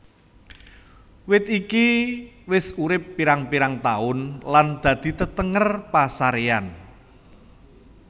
Wit iki wis urip pirang pirang taun lan dadi tetenger pasaréyan